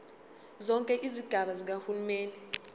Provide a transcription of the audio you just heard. zonke izigaba zikahulumeni